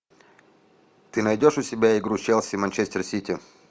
ты найдешь у себя игру челси манчестер сити